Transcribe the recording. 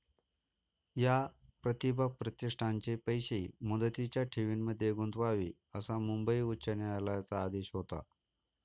या 'प्रतिभा प्रतिष्ठान'चे पैसे मुदतीच्या ठेवींमध्ये गुंतवावे असा मुंबई उच्च न्यायालयाचा आदेश होता